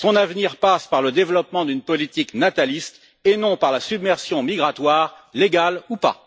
Son avenir passe par le développement d'une politique nataliste et non par la submersion migratoire, légale ou pas.